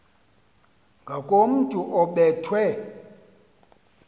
ngakomntu obe thwe